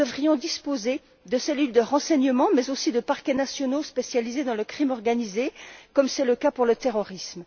Nous devrions disposer de cellules de renseignements, mais aussi de parquets nationaux spécialisés dans la criminalité organisée, comme c'est le cas pour le terrorisme.